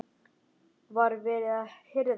Var verið að hirða hann?